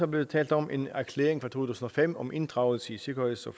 blevet talt om en erklæring fra to tusind og fem om inddragelse i sikkerheds og